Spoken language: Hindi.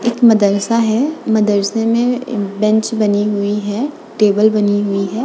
एक मदरसा है। मदरसे में ए-बेंच बनी हुई है टेबल बनी हुई है।